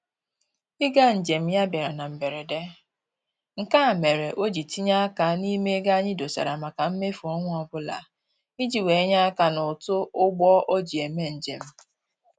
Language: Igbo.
Ịga njem ya a bịara na mberede, nke a mere o ji tinye aka n'ime ego anyị dosara maka mmefu ọnwa ọbụla iji wee nye aka n'ụtụ ụgbọ o ji eme njem